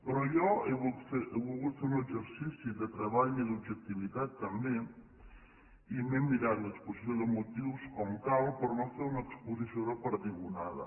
però jo he volgut fer un exercici de treball i d’objectivitat també i m’he mirat l’exposició de motius com cal per no fer una exposició de perdigonada